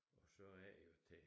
Og så er det jo det